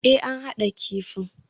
Ee, an haɗa kifin